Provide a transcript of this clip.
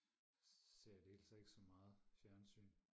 ser i det hele taget ikke så meget fjernsyn